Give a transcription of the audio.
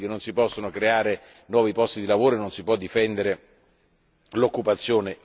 Rübig, oggi non si possono creare nuovi posti di lavoro e non si può difendere l'occupazione.